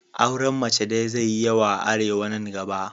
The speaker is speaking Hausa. Auren mace daya zai yi yawa a Arewa nan gaba.